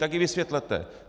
Tak je vysvětlete.